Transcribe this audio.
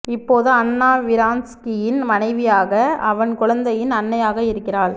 இப்போது அன்னா விரான்ஸ்கியின் மனைவியாக அவன் குழந்தையின் அன்னையாக இருக்கிறாள்